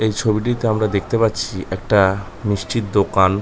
এই ছবিটিতে আমরা দেখতে পাচ্ছি একটা মিষ্টির দোকান।